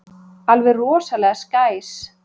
Alveg rosalega skæs.